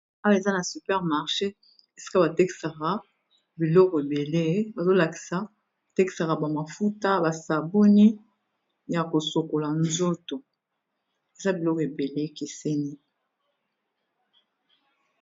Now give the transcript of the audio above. Awa eza na super marché, esika ba tekisaka biloko ébélé. Bazo lakisa , ba tekisaka ba mafuta, ba sabuni ya ko sukola nzoto, eza biloko ébélé e keseni .